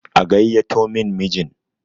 a gaiyyato min mijin!